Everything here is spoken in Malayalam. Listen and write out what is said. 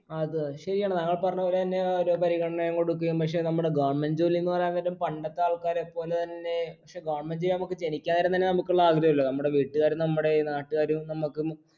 ആ അത് ശരിയാണ് താങ്കൾ പറഞ്ഞ പോലെ തന്നെ ഒരോ പരിഗണനയും കൊടുക്കുകയും പക്ഷെ നമ്മടെ government ജോലീന്ന് പറയാൻ നേരം പണ്ടത്തെ ആൾക്കാരെപ്പോലെതന്നെ പക്ഷെ government ഉദ്യോഗം നമുക്ക് ജനിക്കാൻ നമുക്കുള്ള ആഗ്രഹല്ലേ നമ്മുടെ വീട്ടുകാരും നമ്മുടെ നാട്ടുകാരും നമ്മക്ക്